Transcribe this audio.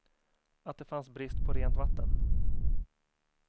Att det fanns brist på rent vatten.